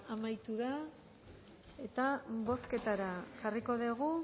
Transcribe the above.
amaitu da eta bozketara jarriko dugu